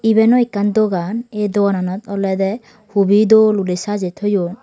iben o ekkan dogan ei dogananot olodey hubi dol guri sajey toyon.